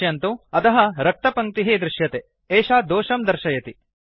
पश्यन्तु अधः रक्तपङ्क्तिः दृश्यते एषा दोषं सूचयति